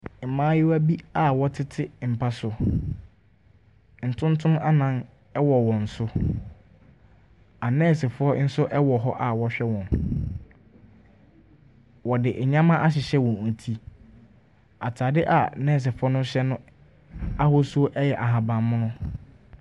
Mmayewa bi a wɔtete mpa so. Ntontom anan wɔ wɔn so. Anɛɛsefoɔ nso wɔ hɔ a wɔrehwɛ wɔn. Wɔde nneɛma ahyehyɛ wɔn ti. Atade a nɛɛsefoɔ no hyɛ no ahosuo yɛ ahaban mono.